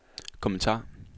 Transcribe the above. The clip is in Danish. kommentar